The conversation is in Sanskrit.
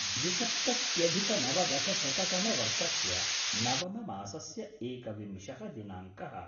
द्विसप्तत्यधिकनवदशशततमवर्षस्य नवममासस्य एकविंशः दिनाङ्कः